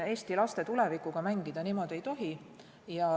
Eesti laste tulevikuga niimoodi mängida ei tohi.